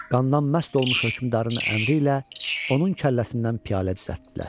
Qandan məst olmuş hökmdarın əmri ilə onun kəlləsindən piyalə düzəltdilər.